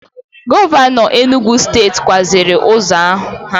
Govano Enugwu steeti kwaziri uzo ha